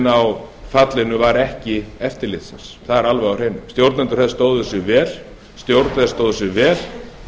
á fallinu var ekki eftirlitsins það er alveg á hreinu stjórn þess stóðu sig vel